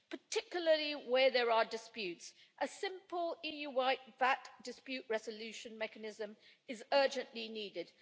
Particularly where there are disputes, a simple EU-wide VAT dispute resolution mechanism is urgently needed.